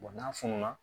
n'a fununa